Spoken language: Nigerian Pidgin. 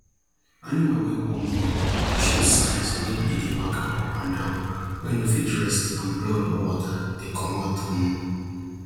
animal wey wan born dey show signs wen e dey waka up and down wey no fit rest and blood or water dey comot um